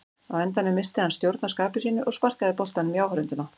Á endanum missti hann stjórn á skapi sínu og sparkaði boltanum í áhorfendurna.